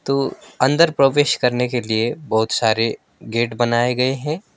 तो अंदर प्रवेश करने के लिए बहुत सारे गेट बनाए गए है।